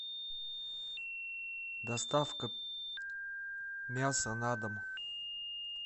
доставка мяса на дом